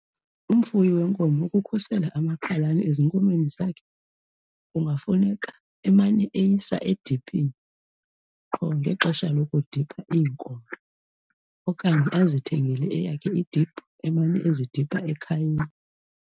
Umfuyi wenkomo ukukhusela amakhalane ezinkomeni zakhe kungafuneka emane eyisa ediphini qho ngexesha lokudipha iinkomo okanye azithengele eyakhe idiphu emane ezidipha ekhayeni.